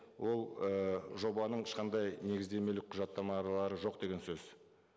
ол ііі жобаның ешқандай негіздемелік құжаттамалары жоқ деген сөз